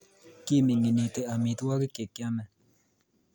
Kiminginiti amitwogik chekiame